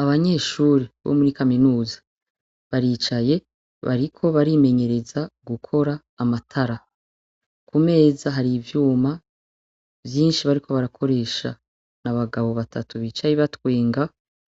Abanyeshure bo muri kaminuza, baricaye bariko barimenyereza gukora amatara, kumeza hari ivyuma vyinshi bariko barakoresha. N’abagabo batatu bicaye batwenga